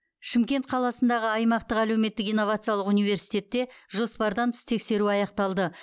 шымкент қаласындағы аймақтық әлеуметтік инновациялық университетте жоспардан тыс тексеру аяқталды